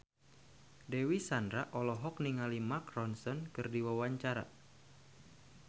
Dewi Sandra olohok ningali Mark Ronson keur diwawancara